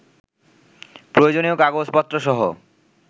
প্রয়োজনীয় কাগজপত্রসহ